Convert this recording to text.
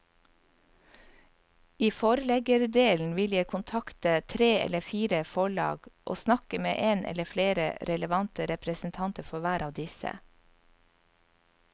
I forleggerdelen vil jeg kontakte tre eller fire forlag og snakke med en eller flere relevante representanter for hver av disse.